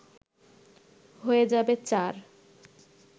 হয়ে যাবে চার